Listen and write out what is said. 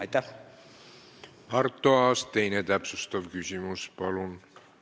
Arto Aas, teine täpsustav küsimus, palun!